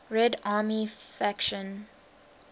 red army faction